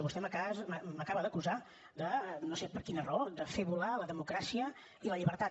vostè m’acaba d’acusar no sé per quina raó de fer volar la democràcia i la llibertat